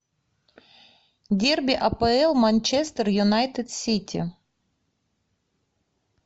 дерби апл манчестер юнайтед сити